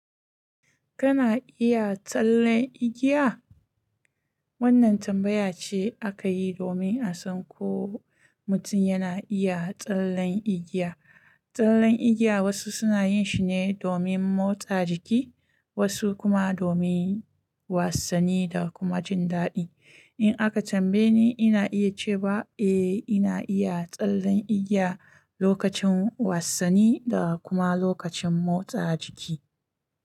Kana iya tsallen igiya? Wannan tambaya ce aka yi domin a san ko mutum yana iya tsallen igiya. Tsallen igiya wasu suna yin shi ne domin motsa jiki, wasu kuma domin wassani da kuma jin daɗi. In aka tambaye ni, ina iya ce ba eh ina iya tsallen igiya lokacin wassani da kuma lokacin motsa jiki.